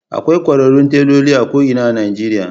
Akwai kwararrun teloli a ko’ina a Nijeriya